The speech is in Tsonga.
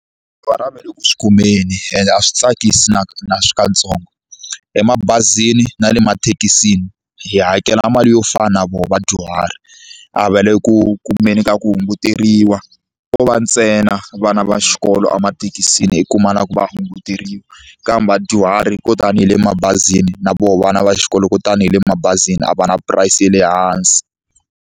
a va le ku swi kumeni ende a swi tsakisi nakatsongo emabazini na le mathekisi hi hakela mali yo fana na vona vadyuhari a va le ku kumeni ka ku hunguteriwa ko va ntsena vana va xikolo emathekisini i kuma na ku va hunguteriwa kambe vadyuhari ko tanihi le mabazini na voho vana va xikolo kutani hi le mabazini a va na price ya le hansi.